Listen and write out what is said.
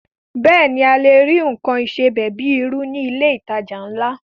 Bẹ́ẹ̀ ni, a lè rí nǹkan ìsebẹ̀ bíi irú ní ilé ìtajà ńlá